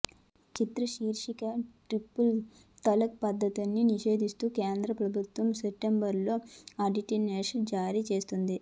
చిత్రం శీర్షిక ట్రిపుల్ తలాక్ పద్ధతిని నిషేధిస్తూ కేంద్ర ప్రభుత్వం సెప్టెంబర్లో ఆర్డినెన్స్ జారీ చేసింది